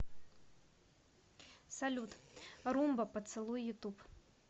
салют румба поцелуй ютуб